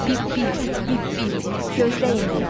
Pip pip, pip pip, gözdəyin biraz.